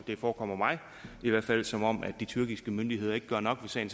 det forekommer mig i hvert fald som om de tyrkiske myndigheder ikke gør nok ved sagen